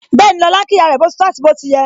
Bẹẹni, lọ́la ń kí ìyá rẹ, boti tọ àti bó ti yẹ